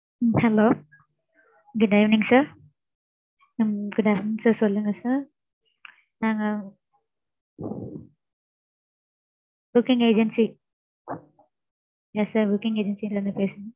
Hello good evening sir உம் good afternoon sir சொல்லுங்க sir நாங்க, booking agency yes sir booking agency ல இருந்து பேசுறோம்.